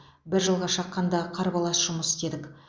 бір жылға шаққанда қарбалас жұмыс істедік